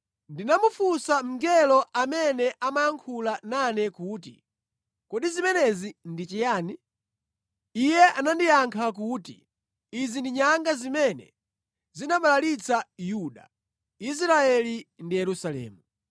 Ndinamufunsa mngelo amene amayankhula nane kuti, “Kodi zimenezi ndi chiyani?” Iye anandiyankha kuti, “Izi ndi nyanga zimene zinabalalitsa Yuda, Israeli ndi Yerusalemu.”